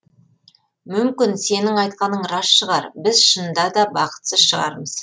мүмкін сенің айтқаның рас шығар біз шынында да бақытсыз шығармыз